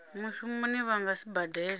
mushumoni vha nga si badele